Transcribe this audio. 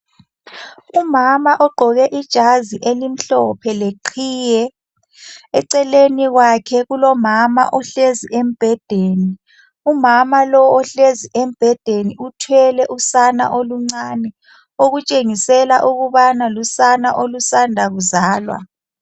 Umama ogqoke ijazi elimhlophe leqhiye eceleni kwakhe kulomama ohlezi embhedeni. Umama lowu ohlezi embhedeni uthwele usana oluncane okutshengisela ukubana lusana olusanda kuzalwa.